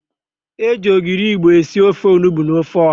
E ji ogiri Igbo esi ofe onugbo na ofe ọ̀há.